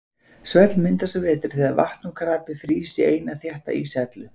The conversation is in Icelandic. Svell myndast að vetri þegar vatn og krapi frýs í eina þétta íshellu.